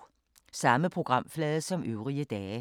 Samme programflade som øvrige dage